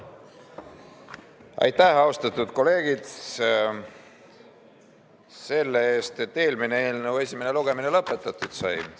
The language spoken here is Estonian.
Aitäh, austatud kolleegid, selle eest, et eelmise eelnõu esimene lugemine lõpetatud sai!